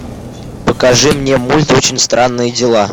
покажи мне мульт очень странные дела